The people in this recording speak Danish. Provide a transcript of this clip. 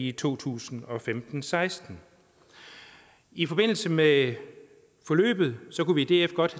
i to tusind og femten til seksten i forbindelse med forløbet kunne vi i df godt